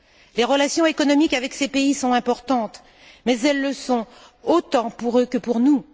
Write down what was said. Les relations économiques avec ces pays sont importantes, mais elles le sont autant pour eux que pour nous.